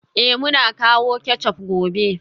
Eh, muna kawo ketchup gobe